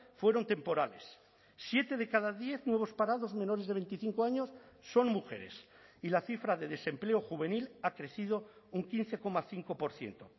fueron temporales siete de cada diez nuevos parados menores de veinticinco años son mujeres y la cifra de desempleo juvenil ha crecido un quince coma cinco por ciento